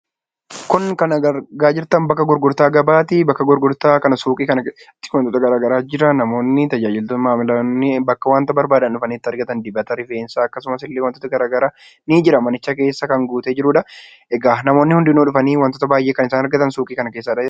Kun kan argaa jirtan bakka gurgurtaa gabaati. Bakka gurgurtaa gabaa kana suuqii kana keessatti wantoota garaagaraatu jira. Namoonni tajaajilamtoonni bakka wanta barbaadan itti argatan ni jira manicha keessa. Namoonni hundinuu dhufanii waan baay'ee kan argatan suuqii kana keessaadha jechuudha.